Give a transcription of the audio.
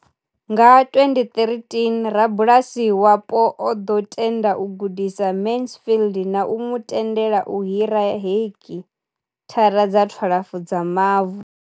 Nga 2013, rabulasi wapo o ḓo tenda u gudisa Mansfield na u mu tendela u hira heki thara dza 12 dza mavu.